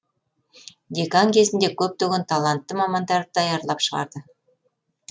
декан кезінде көптеген талантты мамандарды даярлап шығарды